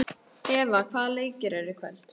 Eva, hvaða leikir eru í kvöld?